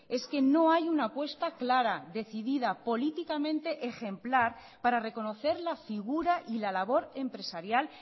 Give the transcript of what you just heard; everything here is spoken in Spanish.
es que no hay una apuesta clara decidida políticamente ejemplar para reconocer la figura y la labor empresarial